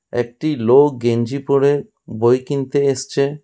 একটি লোক গেঞ্জি পরে বই কিনতে এসছে।